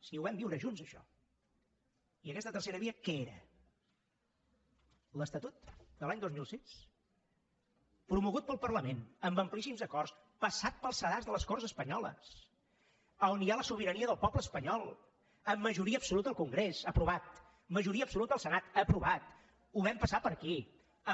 si ho vam viure junts això i aquesta tercera via què era l’estatut de l’any dos mil sis promogut pel parlament amb amplíssims acords passat pel sedàs de les corts espanyoles on hi ha la sobirania del poble espanyol amb majoria absoluta al congrés aprovat majoria absoluta al senat aprovat ho vam passar per aquí